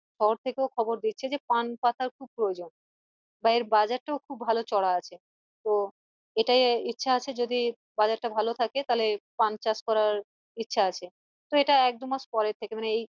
থেকেও খবর দিচ্ছে যে পান পাতার খুব প্রয়োজন বা এর বাজার টাও খুব চড়া আছে তো এটাই ইচ্ছা আছে যদি বাজার টা ভালো থাকে তালে পান চাষ করা ইচ্ছা আছে তো এটা এক দু মাস পরের থেকে মানে এই